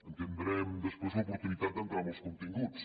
i tindrem després l’oportunitat d’entrar en els continguts